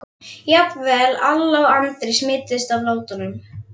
Jafnvel Alla og Andri smituðust af látunum.